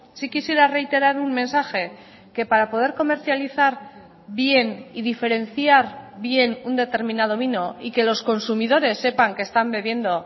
sí quisiera reiterar un mensaje que para poder comercializar bien y diferenciar bien un determinado vino y que los consumidores sepan que están bebiendo